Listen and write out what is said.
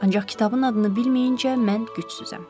Ancaq kitabın adını bilməyincə mən gücsüzəm.